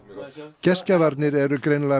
gestgjafarnir eru greinilega